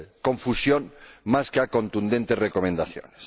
confusión más que a contundentes recomendaciones.